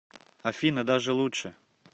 афина даже лучше